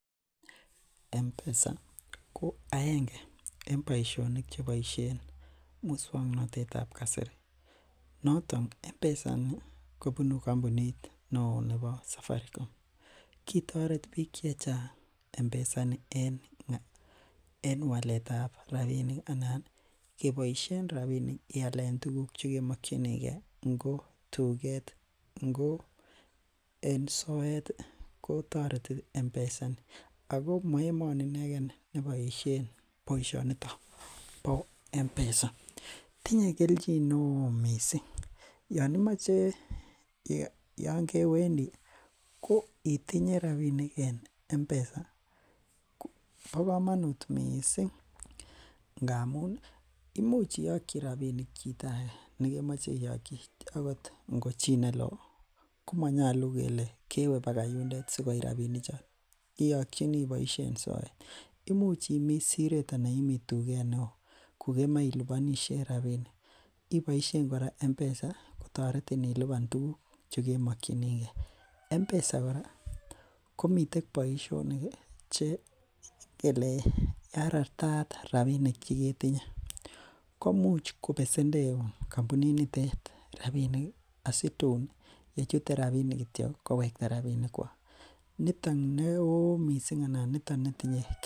Mpesa ko aenge en boishonik cheboishen muswoknotetab kasari, noton mpesa kobunu kombuniit neoo nebo safaricom , kitoreet biiik chechang mpesa ini en waleet ab rabinik anan keboishen rabinik iyaleen tuguk chegemokyinigee ngo en tugeet ngo en soet iih kotoreti mpesa, ago moemoni inegee neboishen boishoniton bo mpesa, tinye kelchin neoo mising yoon imoche yoon kewendii ko itinye rabinik en mpesa ko bokomonuut mising ngamuun imuch imuch iyokyi rabinik chito age negemoche iyokchi, agot ngo chii neloo komonyolu kele kewe bagai yundeet sigooit rabinik choon, iyokyinii iboishen soet imuch imii sireet anan imii tugeet neo kogemoe ilubonishen rabinik iboishen koraa mpesa toretin ilibaan tuguk chegemokyinigee, mpesa koraa komiten boishonik iih chekele karartaat rabinik chegetinye komuch kobesendeuu kompuniit niteet rabinik iih asitun yechute rabinik kityo kowekta rabinik kwaak, niton neoo mising anan niton netinye,,